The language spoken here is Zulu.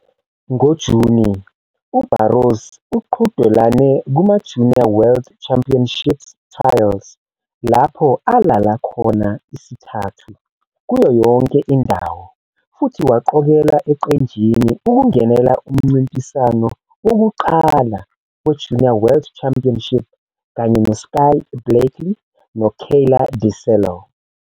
NgoJuni uBarros uqhudelane kumaJunior World Championships Trials lapho alala khona isithathu kuyo yonke indawo futhi waqokelwa eqenjini ukungenela umncintiswano wokuqala weJunior World Championship kanye noSkye Blakely noKayla DiCello.